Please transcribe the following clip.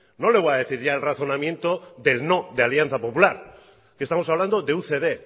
no le voy a decir el razonamiento del no de alianza popular estamos hablando de ucd